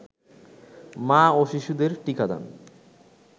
মা ও শিশুদের টিকাদান